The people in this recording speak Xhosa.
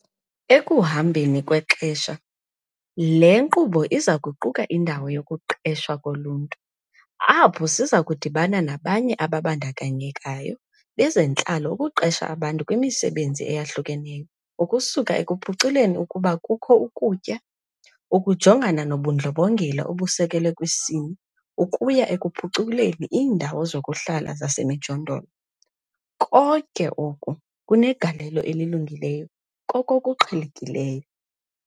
Ekuhambeni kwexesha, le nkqubo iza kuquka indawo 'yokuqeshwa koluntu', apho siza kudibana nabanye ababandakanyekayo bezentlalo ukuqesha abantu kwimisebenzi eyahlukeneyo - ukusuka ekuphuculeni ukuba kukho ukutya, ukujongana nobundlobongela obusekelwe kwisini ukuya ekuphuculeni iindawo zokuhlala zasemijondolo - konke oko kunegalelo elilungileyo kokokuqhelekileyo.